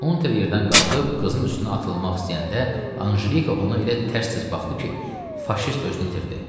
Unter yerdən qalxıb qızın üstünə atılmaq istəyəndə Anjelika ona elə tərs-tərs baxdı ki, faşist özünü itirdi.